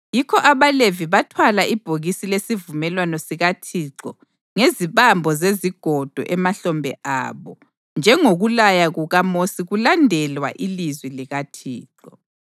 Yikho abaLevi bathwala ibhokisi lesivumelwano sikaThixo ngezibambo zezigodo emahlombe abo, njengokulaya kukaMosi kulandelwa ilizwi likaThixo.